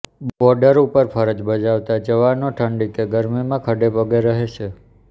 border ઉપર ફરજ બજાવતા જવાનો ઠંડી કે ગરમીમાં ખડે પગે રહે છે